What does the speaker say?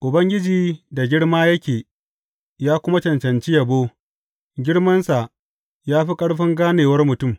Ubangiji da girma yake ya kuma cancanci yabo girmansa ya fi ƙarfin ganewar mutum.